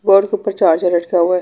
Board के ऊपर charger लटका हुआ है।